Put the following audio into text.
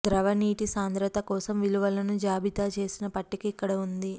ద్రవ నీటి సాంద్రత కోసం విలువలను జాబితా చేసిన పట్టిక ఇక్కడ ఉంది